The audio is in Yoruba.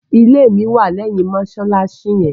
Ìlẹ̀ mi wà lẹyìn mosalasi yẹn.